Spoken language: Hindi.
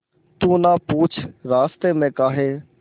तू ना पूछ रास्तें में काहे